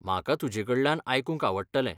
म्हाका तुजेकडल्यान आयकूंक आवडटलें.